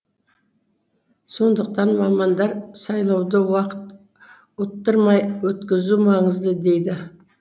сондықтан мамандар сайлауды уақыт ұттырмай өткізу маңызды дейді